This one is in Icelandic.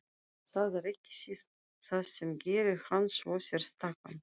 Það er ekki síst það sem gerir hann svo sérstakan.